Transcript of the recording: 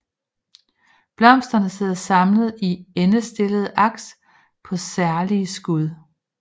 Blomsterne sidder samlet i endestillede aks på særlige skud